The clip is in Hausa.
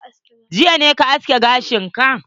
Jiya ne ka aske gashin ka?